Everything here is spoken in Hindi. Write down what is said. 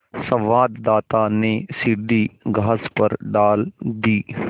संवाददाता ने सीढ़ी घास पर डाल दी